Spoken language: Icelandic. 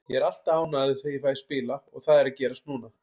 Ég er alltaf ánægður þegar ég fæ að spila og það er að gerast núna.